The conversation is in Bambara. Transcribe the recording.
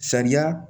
Sariya